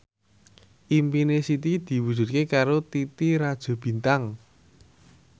impine Siti diwujudke karo Titi Rajo Bintang